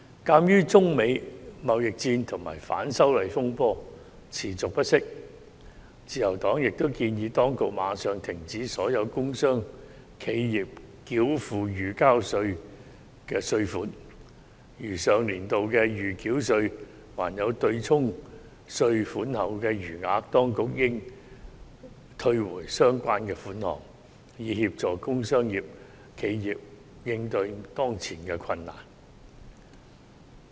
鑒於中美貿易戰及反修例風波持續不息，自由黨亦建議當局立即暫停所有工商企業繳付預繳稅，如上年度的預繳稅對沖稅款後還有餘額，當局應退回相關款項，以協助工商企業應對當前的困難。